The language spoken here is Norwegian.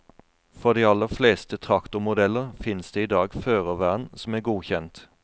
For de aller fleste traktormodeller, fins det i dag førervern som er godkjent.